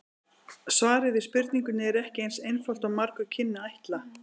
Svarið við spurningunni er ekki eins einfalt og margur kynni að ætla.